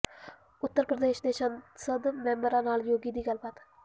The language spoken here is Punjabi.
ਉੱਤਰ ਪ੍ਰਦੇਸ਼ ਦੇ ਸੰਸਦ ਮੈਂਬਰਾਂ ਨਾਲ ਯੋਗੀ ਦੀ ਗੱਲਬਾਤ